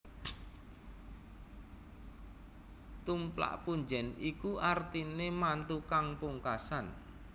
Tumplak punjèn iku artiné mantu kang pungkasan